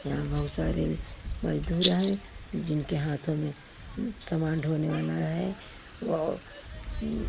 यहां बहुत सारे मजदूर हैं जिनके हाथों में समान ढोने वाला है औ उम--